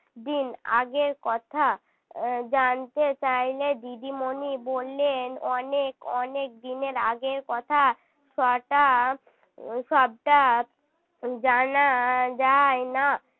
দিন আগের কথা জানতে চাইলে দিদিমণি বললেন অনেক অনেক দিন এর আগের কথা সবটা সবটা জানা যায় না